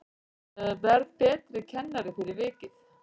Verð betri kennari fyrir vikið